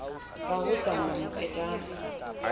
ha ho sa na moketjana